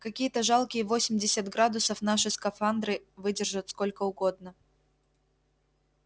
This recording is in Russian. какие-то жалкие восемьдесят градусов наши скафандры выдержат сколько угодно